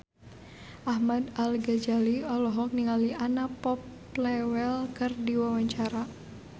Ahmad Al-Ghazali olohok ningali Anna Popplewell keur diwawancara